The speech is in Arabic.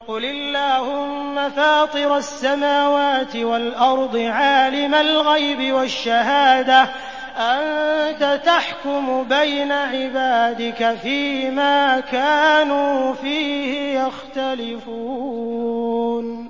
قُلِ اللَّهُمَّ فَاطِرَ السَّمَاوَاتِ وَالْأَرْضِ عَالِمَ الْغَيْبِ وَالشَّهَادَةِ أَنتَ تَحْكُمُ بَيْنَ عِبَادِكَ فِي مَا كَانُوا فِيهِ يَخْتَلِفُونَ